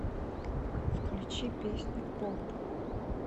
включи песню поп